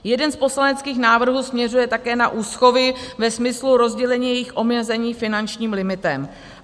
Jeden z poslaneckých návrhů směřuje také na úschovy ve smyslu rozdělení jejich omezení finančním limitem.